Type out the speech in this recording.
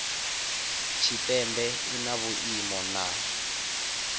tshipembe i na vhuimo na